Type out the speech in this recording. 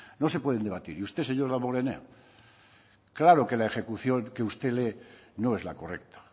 no se pueden debatir y usted señor damborenea claro que la ejecución que usted lee no es la correcta